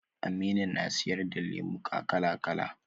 Aminu na siyar da lemuka kala kala